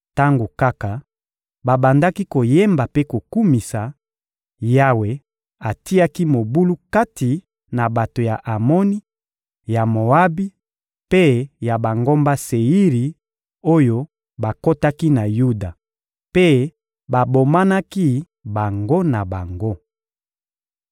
Tango kaka babandaki koyemba mpe kokumisa, Yawe atiaki mobulu kati na bato ya Amoni, ya Moabi mpe ya bangomba Seiri oyo bakotaki na Yuda, mpe babomanaki bango na bango.